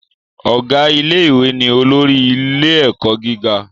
Ọ̀gá ilé ìwé ni olórí ilé ẹ̀kọ́ gíga